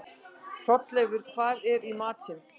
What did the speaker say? Hrolleifur, hvað er í matinn?